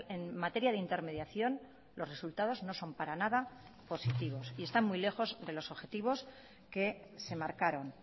en materia de intermediación los resultados no son para nada positivos y están muy lejos de los objetivos que se marcaron